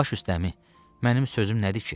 Baş üstəmi, mənim sözüm nədir ki?